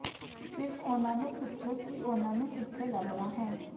ਸਿਰਫ ਉਨ੍ਹਾਂ ਨੂੰ ਪੁੱਛੋ ਕਿ ਉਨ੍ਹਾਂ ਨੂੰ ਕਿੱਥੇ ਲੱਭਣਾ ਹੈ